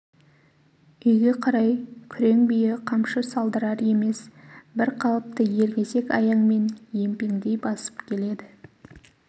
үйге қарай күрең бие қамшы салдырар емес бір қалыпты елгезек аяңмен емпеңдей басып келеді